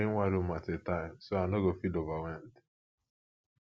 i dey clean one room at a time so i no go feel overwhelmed